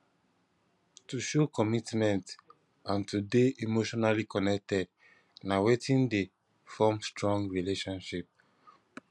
to show commitment and to de emotionally connected na wetin de form strong relationship